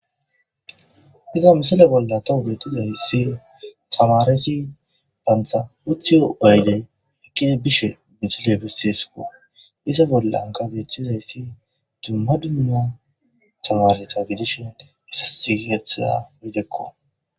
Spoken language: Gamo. Iza misile bolla tawuge tude hissi tamaresi bantha uthiyo ayley ekkidi bishe bisile bisseesiko iza bollan ka becthudayssi dumma dumma samare tragedishin issa sigigethaa midekko.